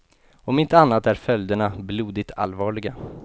Om inte annat är följderna blodigt allvarliga.